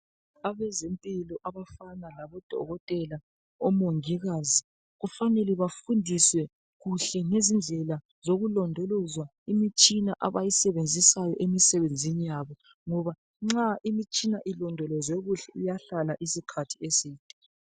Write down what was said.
Abezempilakahle okufana labokotela labomongikazi kufanele bafundiswe ngokulondoloza kuhle imitshina abayisebenzisayo ngoba bengayilondoloza iyahlala isikhathi eside.